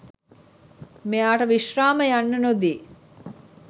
මෙයාට විශ්‍රාම යන්න නොදී